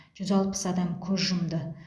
жүз алпыс адам көз жұмды